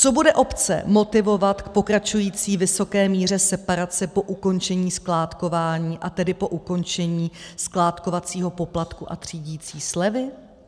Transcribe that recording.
Co bude obce motivovat k pokračující vysoké míře separace po ukončení skládkování, a tedy po ukončení skládkovacího poplatku a třídicí slevy?